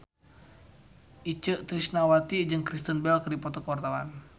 Itje Tresnawati jeung Kristen Bell keur dipoto ku wartawan